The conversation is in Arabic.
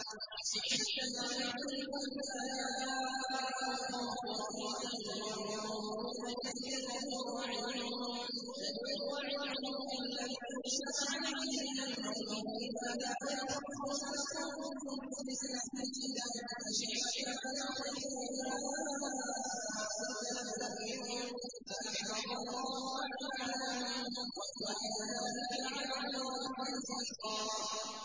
أَشِحَّةً عَلَيْكُمْ ۖ فَإِذَا جَاءَ الْخَوْفُ رَأَيْتَهُمْ يَنظُرُونَ إِلَيْكَ تَدُورُ أَعْيُنُهُمْ كَالَّذِي يُغْشَىٰ عَلَيْهِ مِنَ الْمَوْتِ ۖ فَإِذَا ذَهَبَ الْخَوْفُ سَلَقُوكُم بِأَلْسِنَةٍ حِدَادٍ أَشِحَّةً عَلَى الْخَيْرِ ۚ أُولَٰئِكَ لَمْ يُؤْمِنُوا فَأَحْبَطَ اللَّهُ أَعْمَالَهُمْ ۚ وَكَانَ ذَٰلِكَ عَلَى اللَّهِ يَسِيرًا